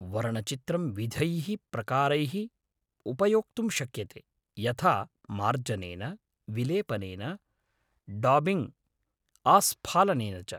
वर्णचित्रं विधैः प्रकारैः उपयोक्तुं शक्यते, यथा मार्जनेन, विलेपनेन, डाबिङ्ग्, आस्फलनेन च।